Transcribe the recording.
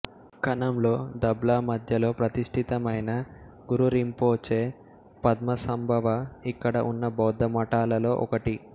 కనంలో దబ్లా మద్యలో ప్రతిష్ఠితమైన గురురింపోచే పద్మసంభవ ఇక్కడ ఉన్న బౌద్ధ మఠాలలో ఒకటి